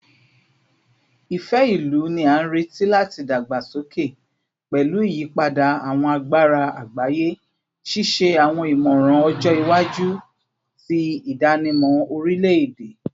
Ifẹ-ilu ni a nireti lati dagbasoke pẹlu iyipada awọn agbara agbaye, ṣiṣe awọn imọran ọjọ iwaju ti idanimọ orilẹ-ede